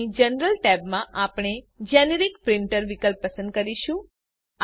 અહીં general tab માં આપણે જેનેરિક પ્રિન્ટર વિકલ્પ પસંદ કરીશું